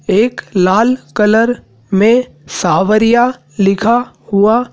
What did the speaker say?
एक लाल कलर में सांवरिया लिखा हुआ--